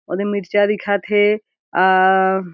ओदे मिर्चा दिखत हे अअ --